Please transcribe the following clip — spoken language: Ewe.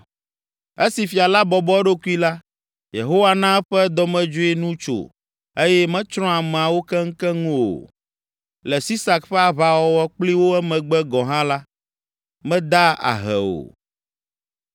Esi fia la bɔbɔ eɖokui la, Yehowa na eƒe dɔmedzoe nu tso eye metsrɔ̃ ameawo keŋkeŋ o. Le Sisak ƒe aʋawɔwɔ kpli wo emegbe gɔ̃ hã la, meda ahe o.